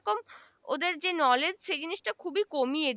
ওদের যে knowledge সে জিনিস টা খুবি কমিয়ে